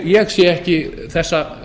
ég sé ekki þessa